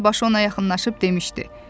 qoca dəstəbaşı ona yaxınlaşıb demişdi: